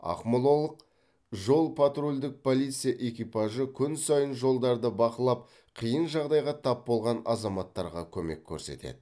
ақмолалық жол патрульдік полиция экипажы күн сайын жолдарды бақылап қиын жағдайға тап болған азаматтарға көмек көрсетеді